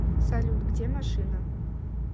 салют где машина